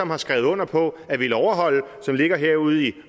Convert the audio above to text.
har skrevet under på at ville overholde og som ligger herude i